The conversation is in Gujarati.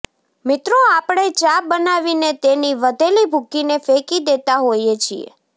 મિત્રો આપણે ચા બનાવીને તેની વધેલી ભૂકીને ફેંકી દેતા હોઈએ છીએ